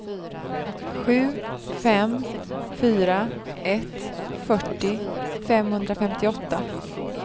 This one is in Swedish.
sju fem fyra ett fyrtio femhundrafemtioåtta